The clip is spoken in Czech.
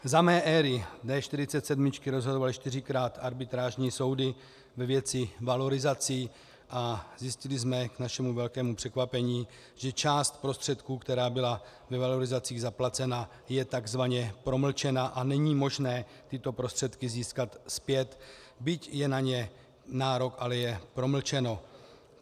Za mé éry D47 rozhodovaly čtyřikrát arbitrážní soudy ve věci valorizací a zjistili jsme k našemu velkému překvapení, že část prostředků, která byla ve valorizacích zaplacena, je tzv. promlčena a není možné tyto prostředky získat zpět, byť je na ně nárok, ale promlčený.